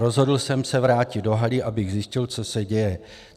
Rozhodl jsem se vrátit do haly, abych zjistil, co se děje.